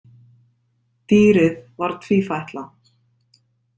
Dýrið var tvífætla.